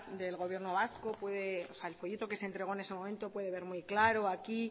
del gobierno vasco al folleto que se entregó en ese momento pueden verlo muy claro aquí